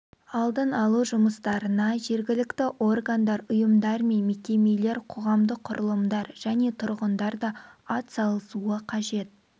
алдын алу жұмыстарына жергілікті органдар ұйымдар мен мекемелер қоғамдық құрылымдар және тұрғындар да атсалысуы қажет